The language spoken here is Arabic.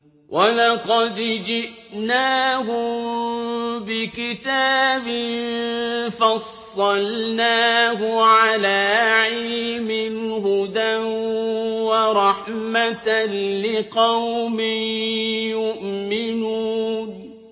وَلَقَدْ جِئْنَاهُم بِكِتَابٍ فَصَّلْنَاهُ عَلَىٰ عِلْمٍ هُدًى وَرَحْمَةً لِّقَوْمٍ يُؤْمِنُونَ